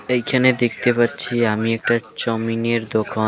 এইখানে দেখতে পাচ্ছি আমি একটা চাওমিনের দোকান .